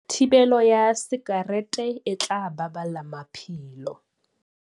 Thibelo ya sakerete e tla baballa maphelo